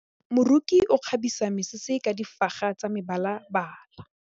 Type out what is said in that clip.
Moroki o kgabisa mesese ka difaga tsa mebalabala.